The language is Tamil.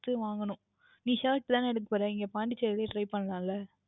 வாங்கவேண்டும் நீங்கள் Shirt தானே எடுக்க போகுறீர்கள் எங்கே Pondicherry லையை Try பண்ணலாம் அல்லவா